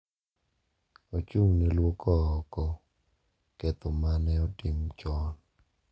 Ochung’ ne lwoko oko ketho ma ne otim chon